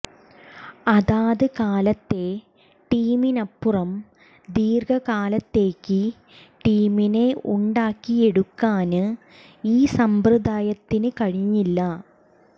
അതാത് കാലത്തെ ടീമിനപ്പുറം ദീര്ഘകാലത്തേക്ക് ടീമിനെ ഉണ്ടാക്കിയെടുക്കാന് ഈ സമ്പ്രദായത്തിന് കഴിഞ്ഞില്ല